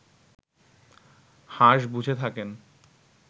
হাঁস বুঝে থাকেন